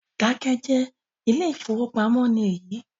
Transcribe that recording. Keep quiet, this is bank